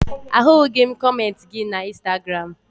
Ahụghị m kọmentị gị na Ịnstagram